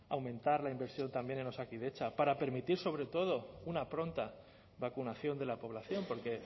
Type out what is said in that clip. aumentar la inversión también en osakidetza para permitir sobretodo una pronta vacunación de la población porque